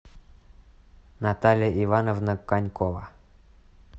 наталья ивановна конькова